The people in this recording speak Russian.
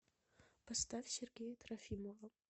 поставь сергея трофимова